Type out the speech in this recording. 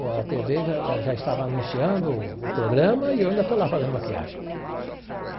A tê vê já já estava anunciando o programa e eu ainda estou lá fazendo maquiagem.